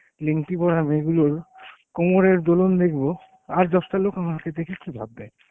নেংটি পরা মেয়েগুলোর কোমরের দোলন দেখব আর দশটা লোক আমাকে দেখে কি ভাববে?